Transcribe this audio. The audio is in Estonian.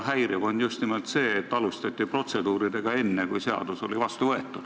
Häiriv on just nimelt see, et protseduuridega alustati enne, kui seadus oli vastu võetud.